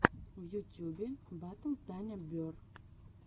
в ютюбе батл таня берр